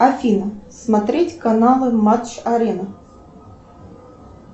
афина смотреть каналы матч арена